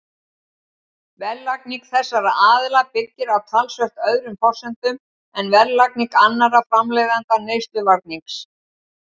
Verðlagning þessara aðila byggir á talsvert öðrum forsendum en verðlagning annarra framleiðenda neysluvarnings.